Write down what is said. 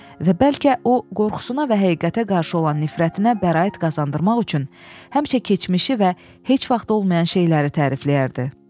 Və bəlkə o, qorxusuna və həqiqətə qarşı olan nifrətinə bəraət qazandırmaq üçün həmişə keçmişi və heç vaxt olmayan şeyləri tərifləyərdi.